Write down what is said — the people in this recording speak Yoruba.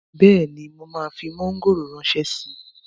Bẹ́ẹ̀ni, mo máa fi mọ́ngòrò ránṣẹ́ síi